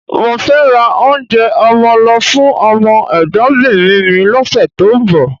Mo fẹ́ ra oúnjẹ ọmọ lọ fún ọmọ ẹ̀gbọ́nbìnrin mi lọ́sẹ̀ tó ń bọ̀